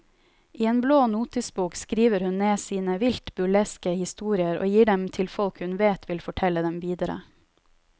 I en blå notisbok skriver hun ned sine vilt burleske historier og gir dem til folk hun vet vil fortelle dem videre.